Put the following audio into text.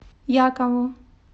якову